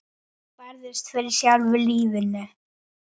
Þú barðist fyrir sjálfu lífinu.